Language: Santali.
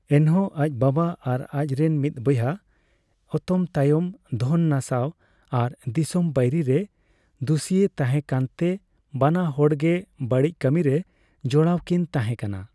ᱮᱱᱦᱚᱸ, ᱟᱡ ᱵᱟᱵᱟ ᱟᱨ ᱟᱡᱨᱮᱱ ᱢᱤᱫ ᱵᱚᱭᱦᱟ ᱚᱛᱚᱢᱛᱟᱭᱚᱢ ᱫᱷᱚᱱ ᱱᱟᱥᱟᱣ ᱟᱨ ᱫᱤᱥᱚᱢ ᱵᱟᱹᱭᱨᱤ ᱨᱮ ᱫᱩᱥᱤᱭ ᱛᱟᱦᱮᱸ ᱠᱟᱱᱛᱮ ᱵᱟᱱᱟ ᱦᱚᱲᱜᱮ ᱵᱟᱹᱲᱤᱡ ᱠᱟᱹᱢᱤᱨᱮ ᱡᱚᱲᱟᱣ ᱠᱤᱱ ᱛᱟᱸᱦᱮ ᱠᱟᱱᱟ ᱾